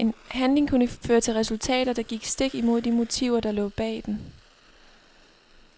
En handling kunne føre til resultater, der gik stik imod de motiver der lå bag den.